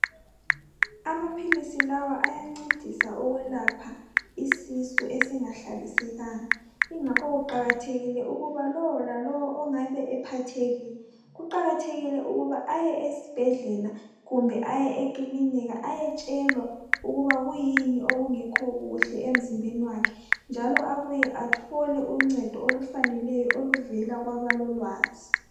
amaphilisi lawa ayancedisa ukulapha isisu esingahlalisekanga ngakho kuqakathekile ukuba lowo lalowo abe ephathekile kuqakathekile ukuba ay esibhedlela kumbe aye ekilinika ayetshelwa ukuba kuyini okungekho kuhle emzimbeni wakhe njalo abuye athole uncedo olufaneleyo oluvela kwabalolwazi